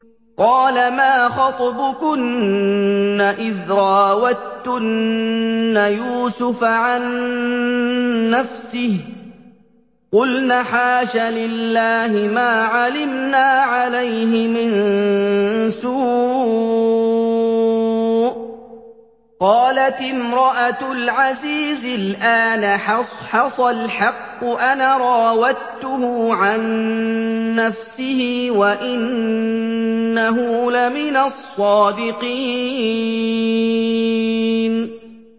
قَالَ مَا خَطْبُكُنَّ إِذْ رَاوَدتُّنَّ يُوسُفَ عَن نَّفْسِهِ ۚ قُلْنَ حَاشَ لِلَّهِ مَا عَلِمْنَا عَلَيْهِ مِن سُوءٍ ۚ قَالَتِ امْرَأَتُ الْعَزِيزِ الْآنَ حَصْحَصَ الْحَقُّ أَنَا رَاوَدتُّهُ عَن نَّفْسِهِ وَإِنَّهُ لَمِنَ الصَّادِقِينَ